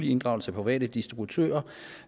inddragelse af private distributører